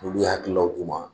Olu ye hakililaw d'u ma